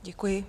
Děkuji.